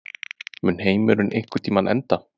Mun heimurinn einhvern tímann enda?